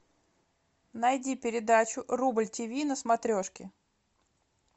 найди передачу рубль тв на смотрешке